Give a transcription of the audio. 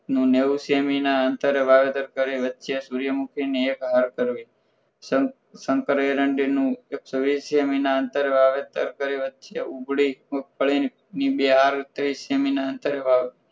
નું નેવ સેમી ના અંતરે વાવેતર કરી વચ્ચે સૂર્યમુખીની એક હાર કરવી શંકર એરંડી નું એક સો વીસ સેમી ના અંતરે વાવેતર કરી વચ્ચે ઉપડી મગફળી ની બે હાર કરી થયા નેવ સેમી ના અંતરે વાવી